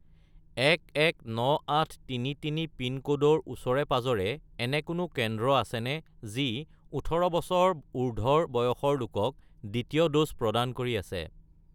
119833 পিনক'ডৰ ওচৰে-পাঁজৰে এনে কোনো কেন্দ্ৰ আছেনে যি ১৮ বছৰ উৰ্ধ্বৰ বয়সৰ লোকক দ্বিতীয় ড'জ প্ৰদান কৰি আছে?